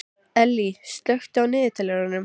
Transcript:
Ellý, slökktu á niðurteljaranum.